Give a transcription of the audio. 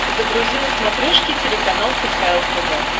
загрузи на смотрешке телеканал кхл тв